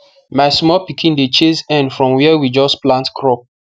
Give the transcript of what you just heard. my small pikin dey chase hen from where we just plant crop